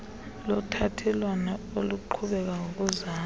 lothathelwano eliqhubeka ngokuzalwa